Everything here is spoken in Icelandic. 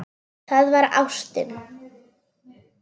Það var ástin.